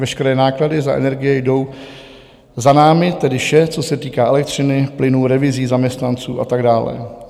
Veškeré náklady za energie jdou za námi, tedy vše, co se týká elektřiny, plynu, revizí, zaměstnanců a tak dále.